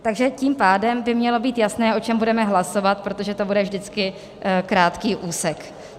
Takže tím pádem by mělo být jasné, o čem budeme hlasovat, protože to bude vždycky krátký úsek.